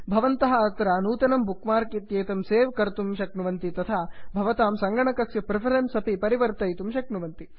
भवन्तः अत्र नूतनं बुक्मार्क् इत्येतं सेव् कर्तुं शक्नुवन्ति तथा भवतां सङ्गणकस्य प्रिफरेन्स् अपि परिवर्तयितुं शक्नुवन्ति